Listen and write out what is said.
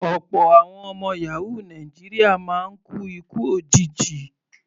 Ọ̀pọ̀ àwọn ọmọ yàhóò Nàìjíríà máa ń kú ikú òjijì.